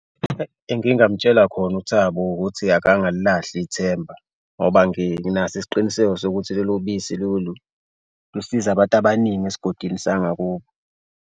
Engingamtshela khona uThabo ukuthi akangalilahle ithemba ngoba nginaso isiqiniseko sokuthi lolu bisi lolu lusize abantu abaningi esigodini sangakubo.